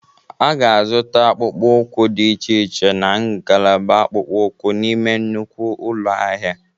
A ga-azụta akpụkpọ ụkwụ dị iche iche na ngalaba akpụkpọ ụkwụ n'ime nnukwu ụlọ ahịa.